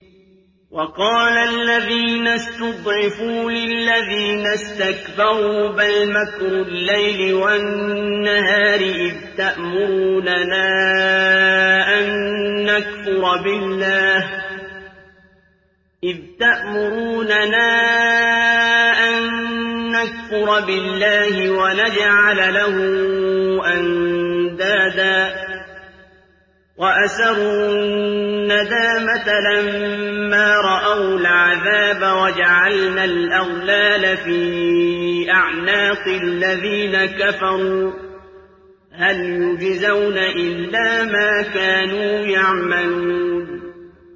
وَقَالَ الَّذِينَ اسْتُضْعِفُوا لِلَّذِينَ اسْتَكْبَرُوا بَلْ مَكْرُ اللَّيْلِ وَالنَّهَارِ إِذْ تَأْمُرُونَنَا أَن نَّكْفُرَ بِاللَّهِ وَنَجْعَلَ لَهُ أَندَادًا ۚ وَأَسَرُّوا النَّدَامَةَ لَمَّا رَأَوُا الْعَذَابَ وَجَعَلْنَا الْأَغْلَالَ فِي أَعْنَاقِ الَّذِينَ كَفَرُوا ۚ هَلْ يُجْزَوْنَ إِلَّا مَا كَانُوا يَعْمَلُونَ